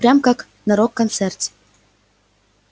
прям как на рок-концерте